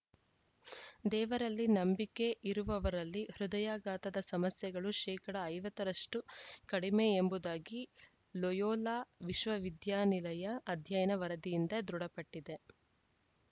ದೇವರಲ್ಲಿ ನಂಬಿಕೆ ಇರುವವರಲ್ಲಿ ಹೃದಯಾಘಾತದ ಸಮಸ್ಯೆಗಳು ಶೇಕಡ ಐವತ್ತ ರಷ್ಟುಕಡಿಮೆ ಎಂಬುದಾಗಿ ಲೊಯೋಲಾ ವಿಶ್ವ ವಿದ್ಯಾನಿಲಯ ಅಧ್ಯಯನ ವರದಿಯಿಂದ ದೃಢಪಟ್ಟಿದೆ